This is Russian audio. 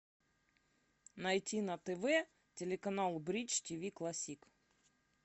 найти на тв телеканал бридж тиви классик